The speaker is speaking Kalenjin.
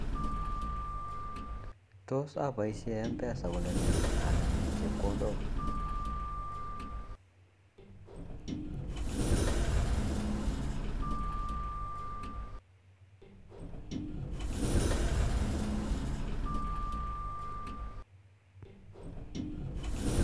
Tos apaishe Mpesa kolene anemu chepkondok?